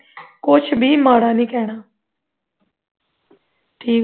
ਕੁਝ ਵੀ ਮਾੜਾ ਨਹੀਂ ਕਹਿਣਾ ਠੀਕ